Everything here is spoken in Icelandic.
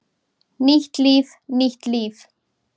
Nýtt líf, nýtt líf!